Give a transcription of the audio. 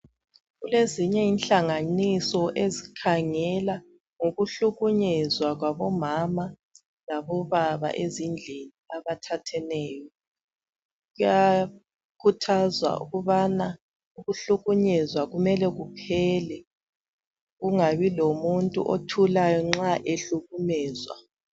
Kulezinye inhlanganiso ezikhangela ngokuhlukunyezwa kwabobaba labomama ezindlini abathatheneyo bayakhuthazwa ukubana ukuhlukunyezwa kumele kuphele kungabi lomuntu othulayo nxa ehlukunyezwa.